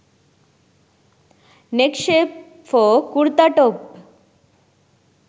neck shape for kurta top